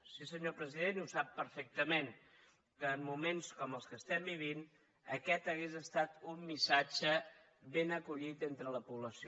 sí senyor president i ho sap perfectament que en moments com els que vivim aquest hauria estat un missatge ben acollit entre la població